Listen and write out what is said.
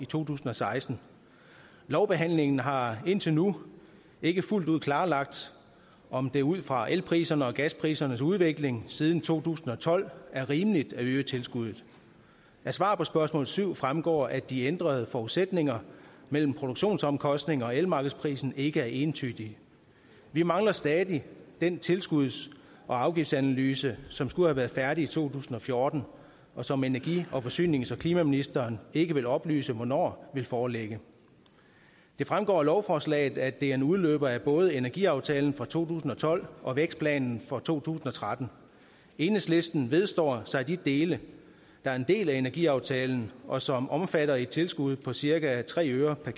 to tusind og seksten lovbehandlingen har indtil nu ikke fuldt ud klarlagt om det ud fra elprisernes og gasprisernes udvikling siden to tusind og tolv er rimeligt at øge tilskuddet af svaret på spørgsmål syv fremgår det at de ændrede forudsætninger mellem produktionsomkostningerne og elmarkedsprisen ikke er entydige vi mangler stadig den tilskuds og afgiftsanalyse som skulle have været færdig i to tusind og fjorten og som energi forsynings og klimaministeren ikke vil oplyse hvornår vil foreligge det fremgår af lovforslaget at det er en udløber af både energiaftalen fra to tusind og tolv og vækstplanen fra to tusind og tretten enhedslisten vedstår sig de dele der er en del af energiaftalen og som omfatter et tilskud på cirka tre øre per